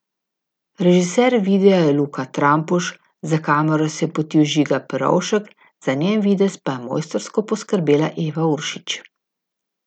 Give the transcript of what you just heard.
Režiser videa je Luka Trampuž, za kamero se je potil Žiga Perovšek, za njen videz pa je mojstrsko poskrbela Eva Uršič.